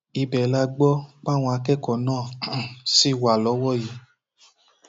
ibẹ la gbọ páwọn akẹkọọ náà um sì wà lọwọ yìí